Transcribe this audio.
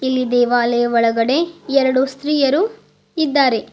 ಈ ದೇವಾಲಯ ಒಳಗಡೆ ಎರಡು ಸ್ತ್ರೀಯರು ಇದ್ದಾರೆ.